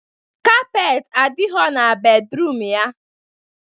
kapeetị adịghọ na bedruum ya